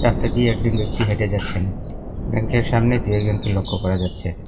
হেঁটে যাচ্ছেন ব্যাংকের সামনে দু'একজনকে লক্ষ্য করা যাচ্ছে।